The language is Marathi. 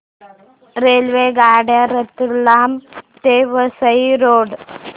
रेल्वेगाड्या रतलाम ते वसई रोड